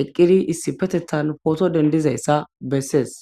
eqqidi issipetethan photo dendizayssa bessees